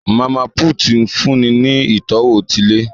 Mama put nfunni ní itọwo ti ilé